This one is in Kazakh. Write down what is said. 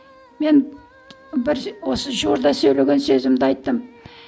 мен бір осы жуырда сөйлеген сөзімде айттым